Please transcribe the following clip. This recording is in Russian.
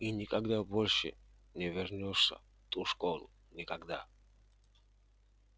и никогда больше не вернёшься в ту школу никогда